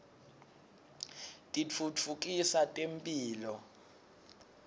titfutfukisa temphilo